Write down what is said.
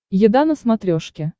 еда на смотрешке